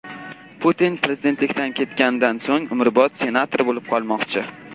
Putin prezidentlikdan ketganidan so‘ng umrbod senator bo‘lib qolmoqchi.